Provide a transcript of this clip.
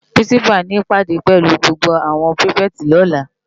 Pirinsipá ni ipádé pèlú gbógbó áwòn pirifèti lòlá